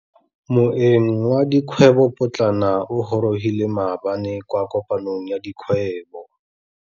Moêng wa dikgwêbô pôtlana o gorogile maabane kwa kopanong ya dikgwêbô.